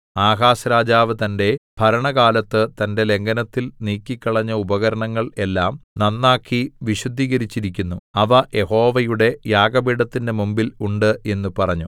Ahaz രാജാവ് തന്റെ ഭരണകാലത്ത് തന്റെ ലംഘനത്തിൽ നീക്കിക്കളഞ്ഞ ഉപകരണങ്ങൾ എല്ലാം നന്നാക്കി വിശുദ്ധീകരിച്ചിരിക്കുന്നു അവ യഹോവയുടെ യാഗപീഠത്തിന്റെ മുമ്പിൽ ഉണ്ട് എന്ന് പറഞ്ഞു